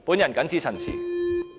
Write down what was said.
我謹此陳辭。